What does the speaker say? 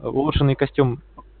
улучшенный костюм